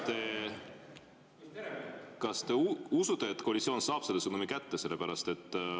Kas te usute, et koalitsioon saab selle sõnumi kätte?